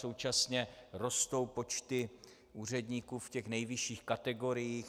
Současně rostou počty úředníků v těch nejvyšších kategoriích.